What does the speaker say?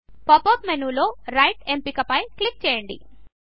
pop up మెనూలో right ఎంపిక పై క్లిక్ చేయండి